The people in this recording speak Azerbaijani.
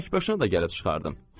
Tək başına da gəlib çıxardım.